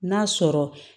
N'a sɔrɔ